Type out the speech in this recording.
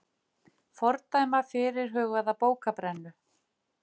Fordæma fyrirhugaða bókabrennu